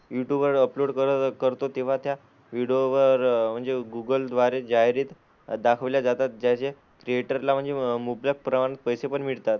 YouTube वर upload करत करतो, तेव्हा त्या व्हिडिओ वर म्हणजे गुगल द्वारे जाहिराती दाखवल्या जातात, ज्याचे क्रिएटरला म्हणजे मुबलक प्रमाणात पैसे पण मिळतात.